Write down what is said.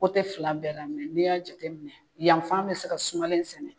Kote fila bɛɛ la mɛ n'i y'a jateminɛ yanfan me se ka sumalen sɛnɛ